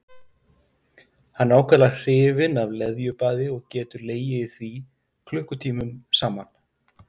Hann er ákaflega hrifinn af leðjubaði og getur legið í því klukkutímum saman.